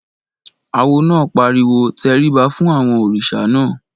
Awo náà pariwo "tẹríba fún àwọn òrìṣà náà!"